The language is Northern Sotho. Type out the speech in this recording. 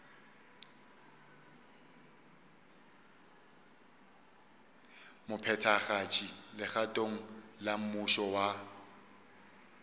mophethagatši legatong la mmušo wa